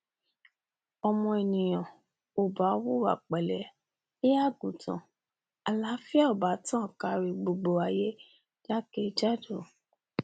ọmọ ènìyàn ò bá hùwà pẹlé bí àgùntàn àláfíà ò bá tàn kárí gbogbo ayé jákè jádò